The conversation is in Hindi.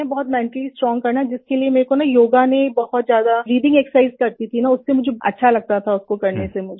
बहुत मेंटली स्ट्रोंग करना है जिसके लिए मुझे योगा ने बहुत ज्यादा ब्रीथिंग एक्सरसाइज करती थी अच्छा लगता था उसको करने से मुझे